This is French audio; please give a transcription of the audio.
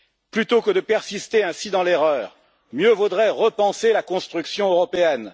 Plutôt que de persister ainsi dans l'erreur, mieux vaudrait repenser la construction européenne.